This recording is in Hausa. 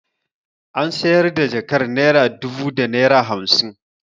Ana sayar da jakar naira dubu da naira hamsin.